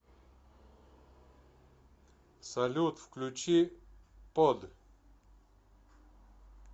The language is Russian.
салют включи п о д